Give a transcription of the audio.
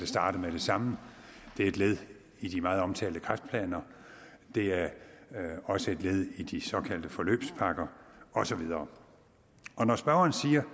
starte med det samme det er et led i de meget omtalte kræftplaner det er også et led i de såkaldte forløbspakker og så videre når spørgeren siger